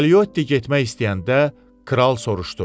Kalotti getmək istəyəndə kral soruşdu: